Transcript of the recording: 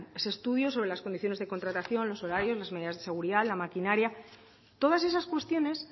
ese estudio sobre las condiciones de contratación los horarios las medidas de seguridad la maquinaria todas esas cuestiones